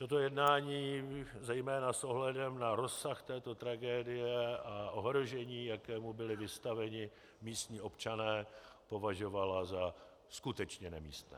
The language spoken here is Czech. Toto jednání zejména s ohledem na rozsah této tragédie a ohrožení, jakému byli vystaveni místní občané, považovala za skutečně nemístné.